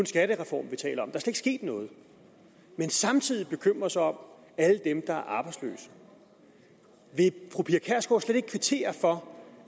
skattereform vi taler om sket noget men samtidig bekymrer hun sig om alle dem der er arbejdsløse vil fru pia kjærsgaard slet ikke kvittere for